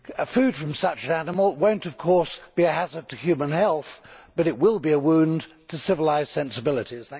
Food from such an animal will not of course be a hazard to human health, but it will be a wound to civilised sensibilities.